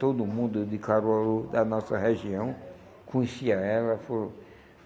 Todo mundo de Caruaru, da nossa região, conhecia ela.